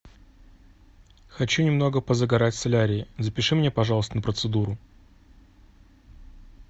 хочу немного позагорать в солярии запиши меня пожалуйста на процедуру